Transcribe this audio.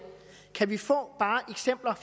kan vi få eksempler